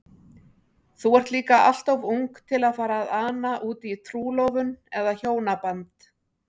Þú ert líka alltof ung til að fara að ana útí trúlofun eða hjónaband.